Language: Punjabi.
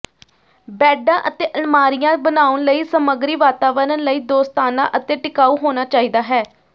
ਬੈਡਾਂ ਅਤੇ ਅਲਮਾਰੀਆਂ ਬਣਾਉਣ ਲਈ ਸਮੱਗਰੀ ਵਾਤਾਵਰਣ ਲਈ ਦੋਸਤਾਨਾ ਅਤੇ ਟਿਕਾਊ ਹੋਣਾ ਚਾਹੀਦਾ ਹੈ